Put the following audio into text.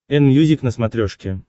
энмьюзик на смотрешке